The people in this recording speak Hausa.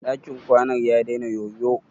Dakin kwanan ya dena yoyo?